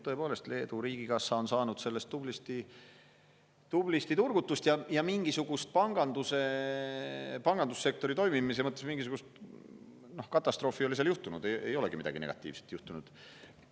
Tõepoolest, Leedu riigikassa on saanud sellest tublisti turgutust ja pangandussektori toimimise mõttes mingisugust katastroofi ei ole seal juhtunud, midagi negatiivset ei ole juhtunud.